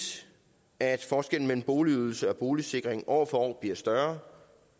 at forskellen mellem boligydelse og boligsikring år for år bliver større